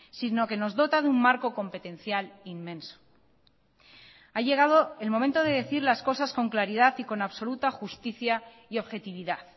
sino que nos dota de un marco competencial inmenso ha llegado el momento de decir las cosas con claridad y con absoluta justicia y objetividad